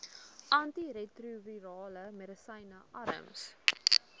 antiretrovirale medisyne arms